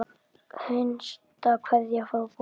Hinsta kveðja frá bróður.